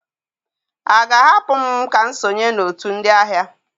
A ga-ahapụ m ka m sonye na otu ndị ahịa?